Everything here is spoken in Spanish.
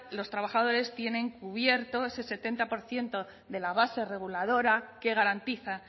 los trabajadores tienen cubierto ese setenta por ciento de la base reguladora que garantiza